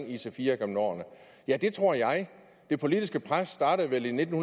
ic4 gennem årene ja det tror jeg det politiske pres startede vel i nitten